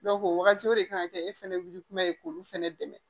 o wagati o de kan ka kɛ e fɛnɛ wuli kuma ye k'olu fɛnɛ dɛmɛ